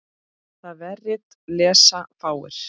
Það vefrit lesa fáir.